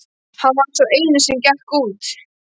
Hann var sá eini sem gekk út.